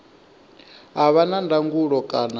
a vha na ndangulo kana